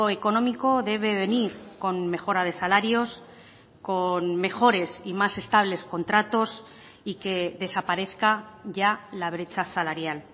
económico debe venir con mejora de salarios con mejores y más estables contratos y que desaparezca ya la brecha salarial